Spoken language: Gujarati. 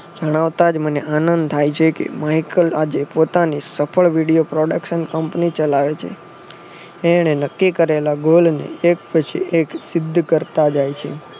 જણાવતા જ મને આનંદ થાય છે કે માઈકલ આજે પોતાની સફળ વિડીયો production કંપની ચલાવે છે. એણે નક્કી કરેલા ગોલ ને એકપછી એક સિદ્ધ કરતા જાય છે.